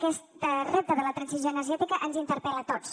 aquest repte de la transició energètica ens interpel·la a tots